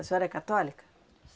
A senhora é católica?